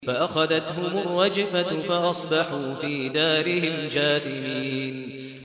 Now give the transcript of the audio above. فَأَخَذَتْهُمُ الرَّجْفَةُ فَأَصْبَحُوا فِي دَارِهِمْ جَاثِمِينَ